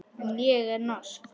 En ég er norsk.